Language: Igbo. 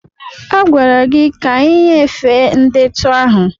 A gwara gị ka ị nyefee ndetu ahụ!